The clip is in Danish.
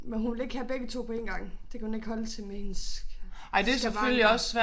Men hun vil ikke have begge 2 på én gang det kan hun ikke holde til med hendes skavanker